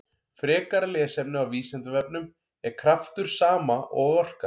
Frekara lesefni á Vísindavefnum: Er kraftur sama og orka?